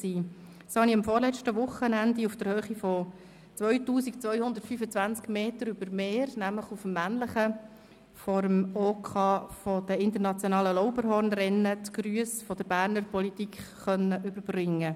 So konnte ich am vorletzten Wochenende auf einer Höhe von 2225 Metern über Meer auf dem Männlichen dem OK der Internationalen Lauberhornrennen Wengen die Grüsse der Berner Politik überbringen.